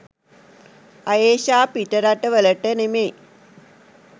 අයේෂා පිටරට වලට නෙමෙයි